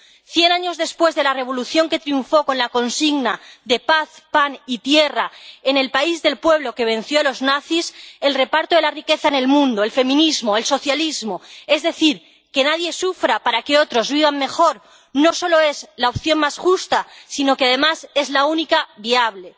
Cien años después de la revolución que triunfó con la consigna de paz, pan y tierra en el país del pueblo que venció a los nazis, el reparto de la riqueza en el mundo, el feminismo, el socialismo, es decir, que nadie sufra para que otros vivan mejor, no solo es la opción más justa sino que, además, es la única viable.